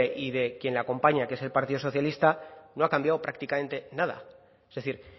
y de quien le acompaña que es el partido socialista no ha cambiado prácticamente nada es decir